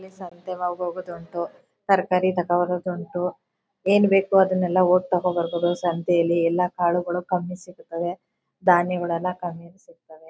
ಈ ಸಂತೆ ಮ್ಯಾಗೆ ಹೋಗೋದುಂಟು ತರಕಾರಿ ತಗೋಬರೋದುಂಟು ಏನು ಬೇಕೋ ಅದನ್ನೆಲ್ಲ ಹೋಗ್ ತಗೋ ಬರ್ಬೋದು ಸಂತೆಯಲ್ಲಿ. ಎಲ್ಲ ಕಾಲುಗಳು ಕಮ್ಮಿಯಲ್ಲಿ ಸಿಗುತ್ತವೆ ಧಾನ್ಯಗಳು ಕಮ್ಮಿಯಲ್ಲಿ ಸಿಗ್ತಾವೆ.